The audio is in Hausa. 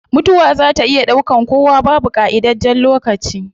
Mutuwa zaa ta iya daukan kowa, babu qaidajjen lokaci